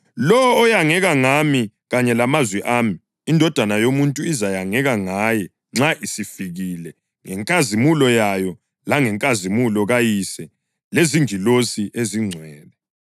Lowo oyangeka ngami kanye lamazwi ami, iNdodana yoMuntu izayangeka ngaye nxa isifikile ngenkazimulo yayo langenkazimulo kaYise lezingilosi ezingcwele.